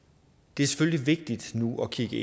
det er selvfølgelig vigtigt nu at kigge